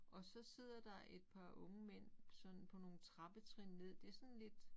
Og så sidder der et par unge mænd sådan på nogle trappetrin ned det sådan lidt